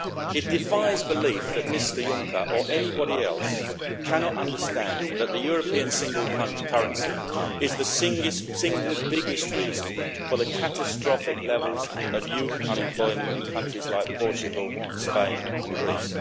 It defies belief that Mr Juncker, or anybody else, can fail to understand that the European single currency is the single biggest reason for the catastrophic levels of youth unemployment in countries like Portugal, Spain and Greece.